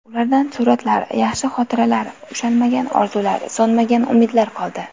Ulardan suratlar, yaxshi xotiralar, ushalmagan orzular, so‘nmagan umidlar qoldi.